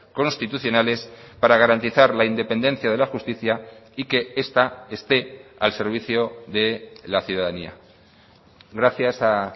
constitucionales para garantizar la independencia de la justicia y que esta esté al servicio de la ciudadanía gracias a